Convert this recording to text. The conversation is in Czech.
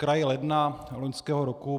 Zkraje ledna loňského roku